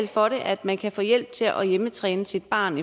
for at man kan få hjælp til at hjemmetræne sit barn